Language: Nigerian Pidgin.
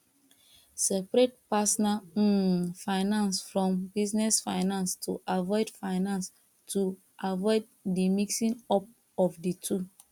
seprate personal um finance from business finance to avoid finance to avoid di mixing up of di two